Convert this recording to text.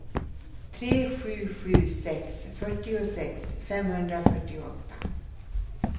tre sju sju sex fyrtiosex femhundrafyrtioåtta